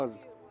Niyə qoyurlar?